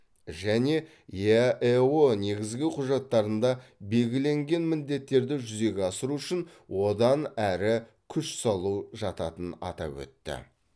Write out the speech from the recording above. және еаэо негізгі құжаттарында белгіленген міндеттерді жүзеге асыру үшін одан әрі күш салу жататын атап өтті